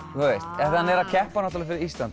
hann er að keppa fyrir Íslandi og